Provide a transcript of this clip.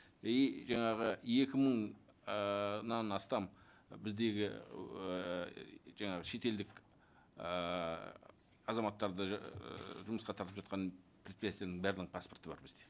и жаңағы екі мың ііі астам біздегі ыыы жаңағы шетелдік ыыы азаматтарды ыыы жұмысқа тартып жатқан предприятияның барлығының паспорты бар бізде